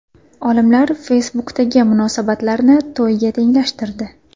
Olimlar Facebook’dagi munosabatlarni to‘yga tenglashtirdi.